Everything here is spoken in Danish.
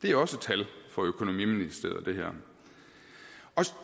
er også tal fra økonomiministeriet